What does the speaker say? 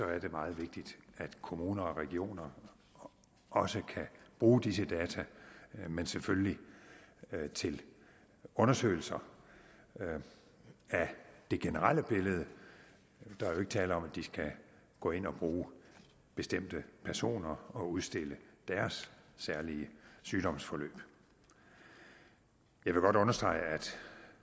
er det meget vigtigt at kommuner og regioner også kan bruge disse data men selvfølgelig til undersøgelser af det generelle billede der er jo ikke tale om at de skal gå ind og bruge bestemte personer og udstille deres særlige sygdomsforløb jeg vil godt understrege at